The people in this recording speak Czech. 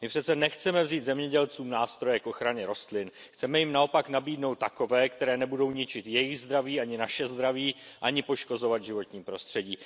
My přece nechceme vzít zemědělcům nástroje k ochraně rostlin, chceme jim naopak nabídnout takové, které nebudou ničit jejich zdraví ani naše zdraví, ani poškozovat životní prostředí.